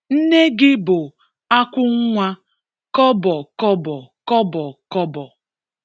Nne gị bụ akwùnwà kọbọ kọbọ. kọbọ kọbọ.